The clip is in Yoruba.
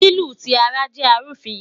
Lilu ti ara jẹ arufin